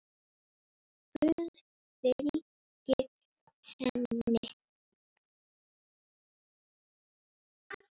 Guð fylgi henni.